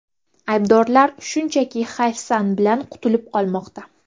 Aybdorlar shunchaki hayfsan bilan qutulib qolmoqda.